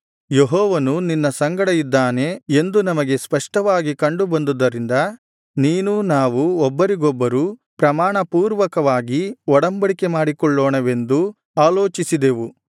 ಯೆಹೋವನು ನಿನ್ನ ಸಂಗಡ ಇದ್ದಾನೆ ಎಂದು ನಮಗೆ ಸ್ಪಷ್ಟವಾಗಿ ಕಂಡು ಬಂದುದರಿಂದ ನೀನೂ ನಾವೂ ಒಬ್ಬರಿಗೊಬ್ಬರು ಪ್ರಮಾಣಪೂರ್ವಕವಾಗಿ ಒಡಂಬಡಿಕೆ ಮಾಡಿಕೊಳ್ಳೋಣವೆಂದು ಆಲೋಚಿಸಿದೆವು